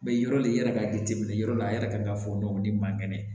Mɛ yɔrɔ de yɛrɛ ka jateminɛ yɔrɔ la a yɛrɛ kan ka fɔ dɔni man kɛnɛ